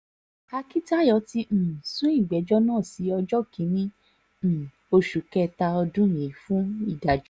akíntayọ̀ ti um sún ìgbẹ́jọ́ náà sí ọjọ́ kìn-ín-ní um oṣù kẹta ọdún yìí fún ìdájọ́